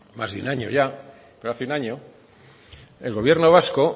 más de un año ya pero hace un año el gobierno vasco